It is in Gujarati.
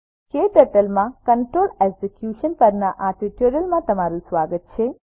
ક્ટર્ટલ માં કન્ટ્રોલ એક્ઝિક્યુશન પરના આ ટ્યુટોરીયલમાં તમારું સ્વાગત છે